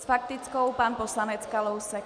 S faktickou pan poslanec Kalousek.